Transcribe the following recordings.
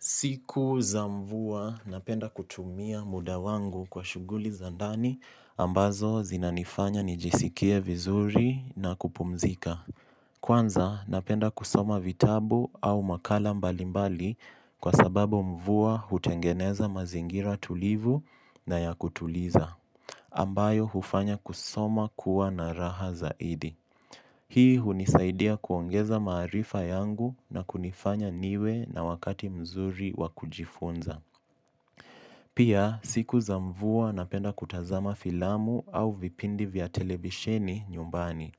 Siku za mvua napenda kutumia muda wangu kwa shughuli za ndani ambazo zinanifanya nijisikie vizuri na kupumzika. Kwanza napenda kusoma vitabu au makala mbalimbali kwa sababu mvua hutengeneza mazingira tulivu na ya kutuliza ambayo hufanya kusoma kuwa na raha zaidi. Hii hunisaidia kuongeza maarifa yangu na kunifanya niwe na wakati mzuri wakujifunza. Pia siku za mvua napenda kutazama filamu au vipindi vya televisheni nyumbani.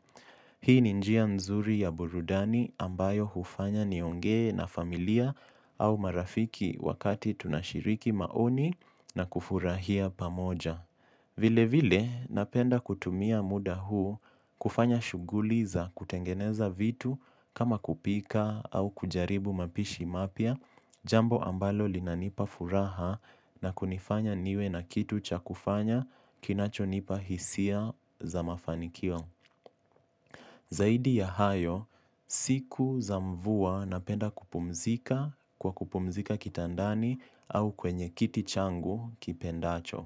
Hii ni njia mzuri ya burudani ambayo hufanya niongee na familia au marafiki wakati tunashiriki maoni na kufurahia pamoja. Vile vile napenda kutumia muda huu kufanya shughuli za kutengeneza vitu kama kupika au kujaribu mapishi mapya. Jambo ambalo linanipa furaha na kunifanya niwe na kitu cha kufanya kinachonipa hisia za mafanikio. Zaidi ya hayo, siku za mvua napenda kupumzika kwa kupumzika kitandani au kwenye kiti changu nikipendacho,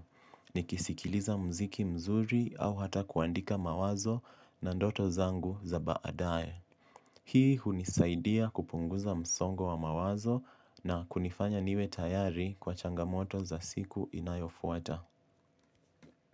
nikisikiliza mziki mzuri au hata kuandika mawazo na ndoto zangu za baadae. Hii hunisaidia kupunguza msongo wa mawazo na kunifanya niwe tayari kwa changamoto za siku inayofuata.